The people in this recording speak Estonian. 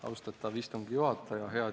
Austatav istungi juhataja!